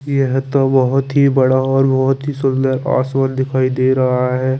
यह तो बहोत ही बड़ा और बहोत ही सुंदर पार्शल दिखाई दे रहा हे।